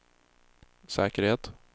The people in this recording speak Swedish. säkerhet